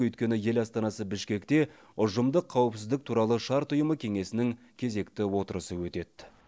өйткені ел астанасы бішкекте ұжымдық қауіпсіздік туралы шарт ұйымы кеңесінің кезекті отырысы өтеді